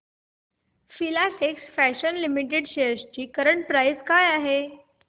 Filatex fashions limited shares ची current price काय आहे